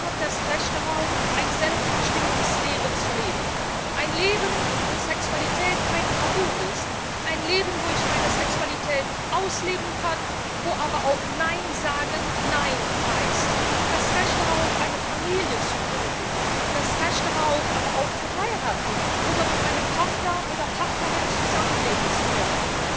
Jeder hat das Recht darauf, ein selbstbestimmtes Leben zu leben ein Leben, wo Sexualität kein Tabu ist, ein Leben, wo ich meine Sexualität ausleben kann, wo aber auch Nein sagen Nein heißt, das Recht darauf, eine Familie zu gründen, das Recht darauf, aber auch zu heiraten oder mit meinem Partner oder meiner Partnerin zusammenleben zu können.